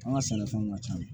An ka sɛnɛfɛnw ka ca